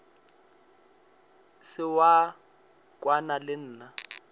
se wa kwana le nna